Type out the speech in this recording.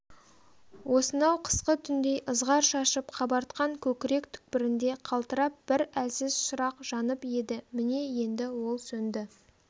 осынау қысқы түндей ызғар шашып қабартқан көкірек түкпірінде қалтырап бір әлсіз шырақ жанып еді міне енді ол сөнді